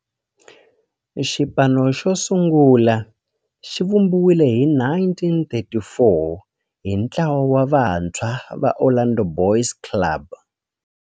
Xipano xosungula xivumbiwile hi 1934 hi ntlawa wa vantshwa va Orlando Boys Club.